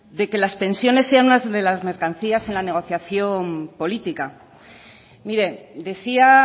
que las pensiones sean unas de las mercancías en la negociación política mire decía